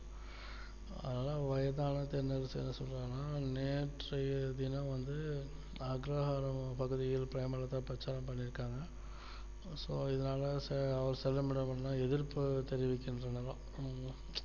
அதனால வயதான தென்னரசு என்ன சொல்றாருனா நேற்றைய தினம் வந்து அக்ரஹார பகுதியில் பிரேமலதா பிரச்சாரம் பண்ணி இருக்காங்க so இதனால செல்லும்மிடமெல்லாம் எதிர்ப்பு தெரிவிக்கிறாங்களாம்